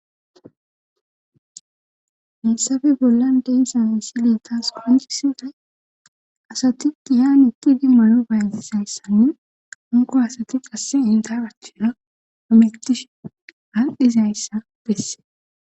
heessafe bollan deyssan misilee taas qoncisi asati dihan utidi maro bayntisayssanne anko asati qasse intarachina amegtishe handizayssa besse